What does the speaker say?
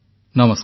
ନମସ୍କାର